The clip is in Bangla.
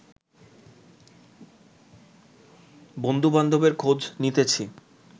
বন্ধুবান্ধবের খোঁজ নিতেছি